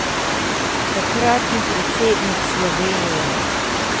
Takratni predsednik Slovenije.